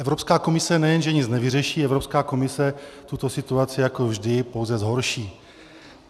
Evropská komise nejen že nic nevyřeší, Evropská komise tuto situaci jako vždy pouze zhorší.